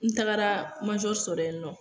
N tagara sɔrɔ yen nɔ